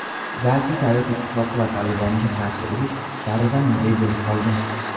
balki Sovet Ittifoqi va "Tolibon"ga qarshi urush davridan muzey bo‘lib qolgan.